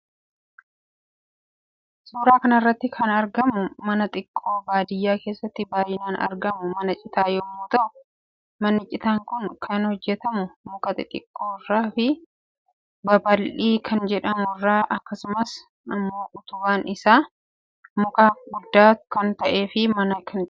Suuraa kanarratti kan argamu mana xiqqo baadiyyaa kessatti baay'inan argamu mana citaa yommuu ta'u manni citaa Kun kan hojjetamu muka xixiqqoo irraa fi babal'ii kan jedhamu irraa akkasumas immo utubaan isaa immo muka guddaa kan ta'efi mana citaa kana utuba.